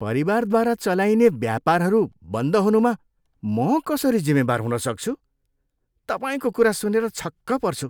परिवारद्वारा चलाइने व्यापारहरू बन्द हुनुमा म कसरी जिम्मेवार हुन सक्छु? तपाईँको कुरा सुनेर छक्क पर्छु।